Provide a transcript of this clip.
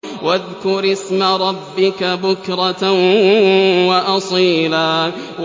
وَاذْكُرِ اسْمَ رَبِّكَ بُكْرَةً وَأَصِيلًا